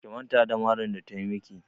Ki manta da marin da ta yi maki!